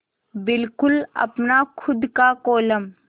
बिल्कुल अपना खु़द का कोलम